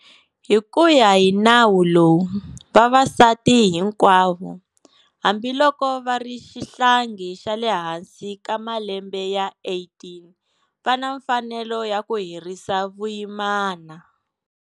Hi ku ya hi Nawu lowu, vavasati hinkwavo, hambiloko va ri xihlangi xa le hansi ka malembe ya 18, va na mfanelo ya ku herisa vuyimana.